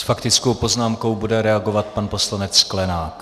S faktickou poznámkou bude reagovat pan poslanec Sklenák.